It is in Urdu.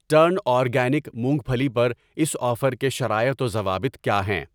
ٹرن اورگینک مونگ پھلی پر اس آفر کے شرائط و ضوابط کیا ہیں؟